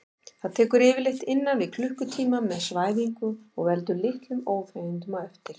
Það tekur yfirleitt innan við klukkutíma með svæfingu og veldur litlum óþægindum á eftir.